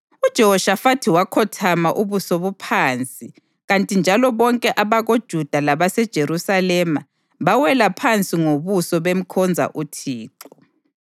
UJehoshafathi wakhothama ubuso buphansi kanti njalo bonke abakoJuda labaseJerusalema bawela phansi ngobuso bemkhonza uThixo.